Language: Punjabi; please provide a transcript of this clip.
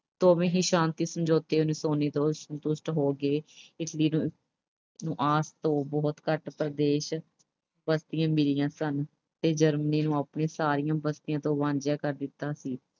ਹੀ ਸ਼ਾਂਤੀ ਸਮਝੌਤੇ ਤੋਂ ਸੰਤੁਸ਼ਟ ਹੋ ਕੇ ਇਸ ਅਹ ਤੋਂ ਬਹੁਤ ਘੱਟ ਪ੍ਰਦੇਸ਼, ਬਸਤੀਆਂ ਮਿਲੀਆਂ ਸਨ ਤੇ Germany ਨੂੰ ਆਪਣੀਆਂ ਸਾਰੀਆਂ ਬਸਤੀਆਂ ਤੋਂ ਵਾਂਝਾ ਕਰ ਦਿੱਤਾ ਸੀ।